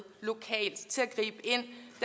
lokalt til